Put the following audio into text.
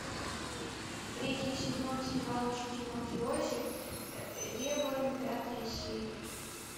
третий сезон сериал учитель мафиози реборн пятая серия